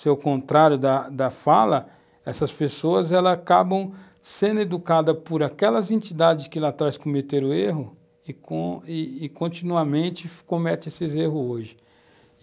se ao contrário da da fala, essas pessoas acabam sendo educadas por aquelas entidades que lá atrás cometeram erros e com continuamente cometem esses erros hoje.